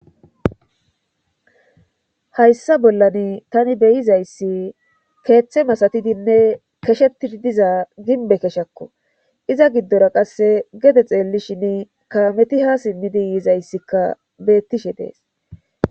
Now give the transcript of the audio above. Hayssa bollan tani beyizayssi keeththe masatidinne keshetidi diza ginbe keshakko iza giddora qasse gede xeelli shin kaameti ha simmidi yiizayssikka beettishe dees.